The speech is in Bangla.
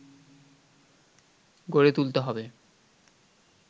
গড়ে তুলতে হবে